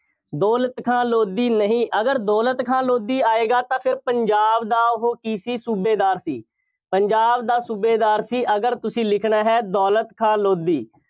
ਦੌਲਤ ਖਾਂ ਲੋਧੀ ਨਹੀਂ, ਅਗਰ ਦੌਲਤ ਖਾਂ ਲੋਧੀ ਆਂਏਗਾ ਤਾਂ ਫਿਰ ਪੰਜਾਬ ਦਾ ਉਹ ਕੀ ਸੀ, ਸੂਬੇਦਾਰ ਸੀ। ਪੰਜਾਬ ਦਾ ਸੂਬੇਦਾਰ ਸੀ। ਅਗਰ ਤੁਸੀਂ ਲਿਖਣਾ ਹੈ। ਦੌਲਤ ਖਾਂ ਲੋਧੀ,